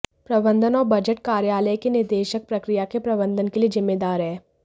प्रबंधन और बजट कार्यालय के निदेशक प्रक्रिया के प्रबंधन के लिए जिम्मेदार है